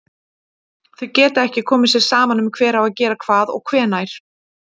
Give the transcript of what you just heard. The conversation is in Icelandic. Þau geta ekki komið sér saman um hver á að gera hvað og hvenær.